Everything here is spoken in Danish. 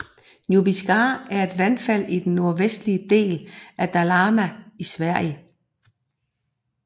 Njupeskär er et vandfald i den nordvestlige del af Dalarna i Sverige